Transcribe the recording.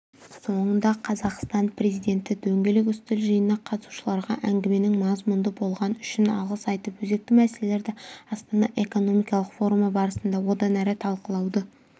соңында қазақстан президенті дөңгелек үстел жиынына қатысушыларға әңгіменің мазмұнды болғаны үшін алғыс айтып өзекті мәселелерді астана экономикалық форумы барысында одан әрі талқылауды